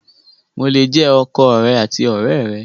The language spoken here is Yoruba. Mo le jẹ ọkọ rẹ àti ọ̀rẹ́ rẹ!